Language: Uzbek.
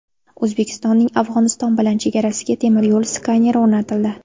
O‘zbekistonning Afg‘oniston bilan chegarasiga temir yo‘l skaneri o‘rnatildi.